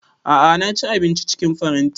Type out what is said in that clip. A'a na ci abinci cikin faranti